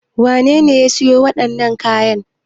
Wane ne ya sayo wadanan nan kayan aikin?